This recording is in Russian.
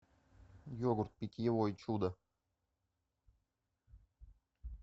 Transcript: йогурт питьевой чудо